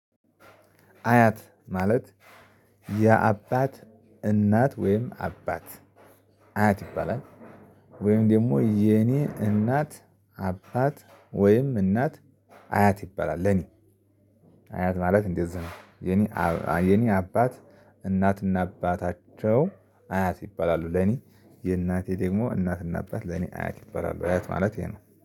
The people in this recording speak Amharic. አያት ማለት የአባት እናት ወይም አባት አያት ይባላል። ወይም ደግሞ የኔ እናት አባት ወይም እናት አያት ይባላል ለኔ። አያት ማለት እንደዚህ ነው የኔ አባ የኔ አባት እናትና አባታቸው አያት ይባላሉ። ለኔ የእናቴ ደግሞ እናትና አባት ለኔ አያት ይባላሉ። አያት ማለት ይሄ ነው